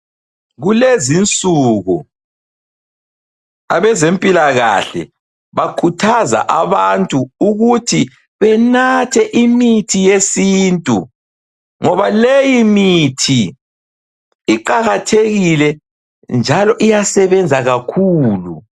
Kulezinsuku abazempilakahle bakhuthaza abantu ukuthi benathe imithi yesintu ngoba leyi mithi iqakathekile njalo iyasebenza kakhulu.